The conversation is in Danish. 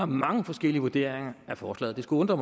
mange forskellige vurderinger af forslaget det skulle undre